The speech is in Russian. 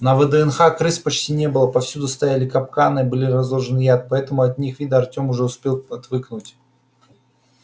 на вднх крыс почти не было повсюду стояли капканы и был разложен яд поэтому от их вида артём уже успел отвыкнуть